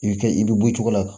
I bɛ kɛ i bɛ bɔ cogo la